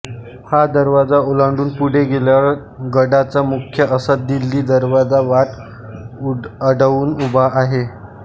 हा दरवाजा ओलांडून पुढे गेल्यावर गडाचा मुख्य असा दिल्ली दरवाजा वाट अडवून उभा आहे